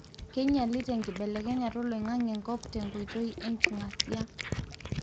kinyialita enkibelekenyata oloingange enkop tenkoitoi enkingasia.